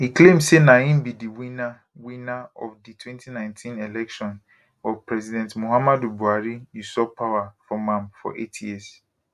e claim say na im be di winner winner of di 2019 election but president muhammadu buhari usurp power from am for eight years